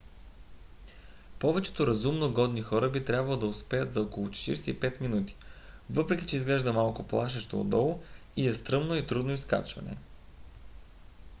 повечето разумно годни хора би трябвало да успеят за около 45 минути въпреки че изглежда малко плашещо отдолу и е стръмно и трудно изкачване